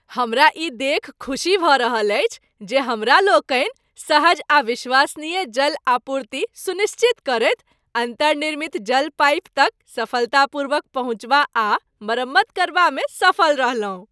हमरा ई देखि खुशी भऽ रहल अछि जे हमरा लोकनि सहज आ विश्वसनीय जल आपूर्ति सुनिश्चित करैत अन्तर्निर्मित जल पाइप तक सफलतापूर्वक पहुँचबा आ मरम्मत करबामे सफल रहलहुँ।